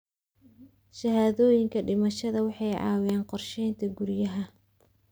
Shahaadooyinka dhimashada waxay caawiyaan qorsheynta guryaha.